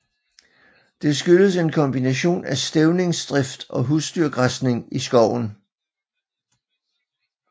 Det skyldes en kombination af stævningsdrift og husdyrgræsning i skoven